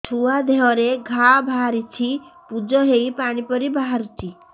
ଛୁଆ ଦେହରେ ଘା ବାହାରିଛି ପୁଜ ହେଇ ପାଣି ପରି ବାହାରୁଚି